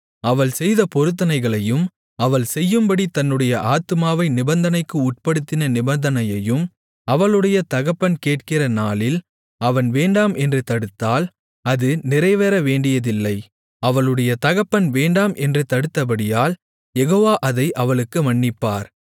அவள் செய்த பொருத்தனைகளையும் அவள் செய்யும்படி தன்னுடைய ஆத்துமாவை நிபந்தனைக்கு உட்படுத்தின நிபந்தனையையும் அவளுடைய தகப்பன் கேட்கிற நாளில் அவன் வேண்டாம் என்று தடுத்தால் அது நிறைவேறவேண்டியதில்லை அவளுடைய தகப்பன் வேண்டாம் என்று தடுத்தபடியால் யெகோவா அதை அவளுக்கு மன்னிப்பார்